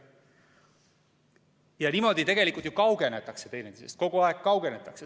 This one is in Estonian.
Ja niimoodi tegelikult ju kaugenetakse teineteisest, kogu aeg kaugenetakse.